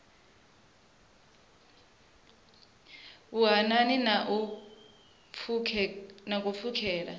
vhuhanani na u pfukhela kha